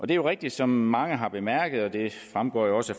det er rigtigt som mange har bemærket og det fremgår jo også